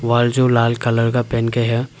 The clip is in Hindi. वॉल जो लाल कलर का पेंट किया--